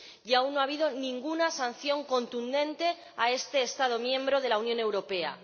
Y aún no ha habido ninguna sanción contundente a este Estado miembro de la Unión Europea.